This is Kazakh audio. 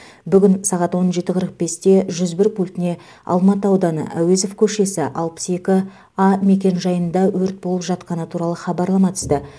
бүгін сағат он жеті қырық бесте жүз бір пультіне алматы ауданы әуезов көшесі алпыс екі а мекенжайында өрт болып жатқаны туралы хабарлама түсті